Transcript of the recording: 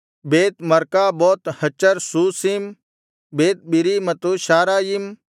ಬೇತ್ Marcaboth Hazar Susim Beth Biri ಮತ್ತು Shaaraim